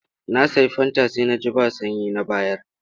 Na sayi fanta sai na ji ba sanyi na bayar.